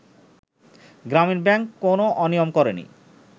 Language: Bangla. গ্রামীন ব্যাংক কোন অনিয়ম করেনি